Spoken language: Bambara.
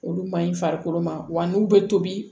Olu maɲi farikolo ma wa n'u bɛ tobi